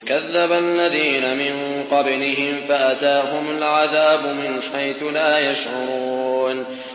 كَذَّبَ الَّذِينَ مِن قَبْلِهِمْ فَأَتَاهُمُ الْعَذَابُ مِنْ حَيْثُ لَا يَشْعُرُونَ